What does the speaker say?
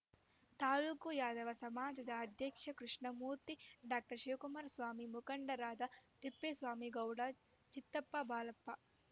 ತಾಲೂಕು ಯಾದವ ಸಮಾಜದ ಅಧ್ಯಕ್ಷ ಕೃಷ್ಣಮೂರ್ತಿ ಡಾಕ್ಟರ್ ಶಿವಕುಮಾರಸ್ವಾಮಿ ಮುಖಂಡರಾದ ತಿಪ್ಪೇಸ್ವಾಮಿಗೌಡ ಚಿತ್ತಪ್ಪ ಬಾಲಪ್ಪ